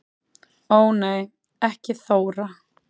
Ó nei ekki Þóra